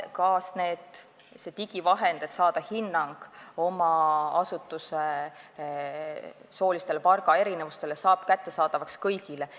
Ka see digivahend, mille abil saab hinnangu oma asutuse soolisele palgaerinevusele, saab kättesaadavaks kõigile.